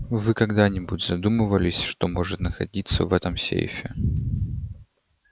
вы когда-нибудь задумывались что может находиться в этом сейфе